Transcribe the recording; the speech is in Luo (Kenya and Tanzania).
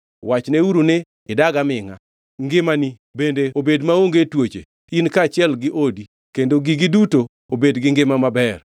Wachneuru ni, ‘Idag amingʼa! Ngimani bende obed maonge tuoche in kaachiel gi odi! Kendo gigi duto obed gi ngima maber!